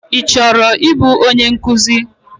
Ị chọrọ ịbụ onye nkụzi?